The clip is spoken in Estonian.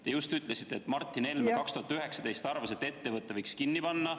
Te just ütlesite, et Martin Helme 2019. aastal arvas, et ettevõtte võiks kinni panna.